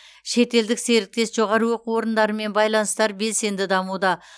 шетелдік серіктес жоғары оқу орындарымен байланыстар белсенді дамуда